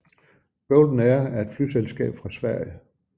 Golden Air er et flyselskab fra Sverige